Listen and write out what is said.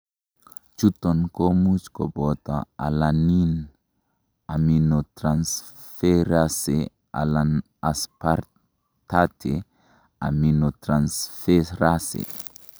Chuton komuch koboto alanine aminotransferase alan aspartate aminotransferase .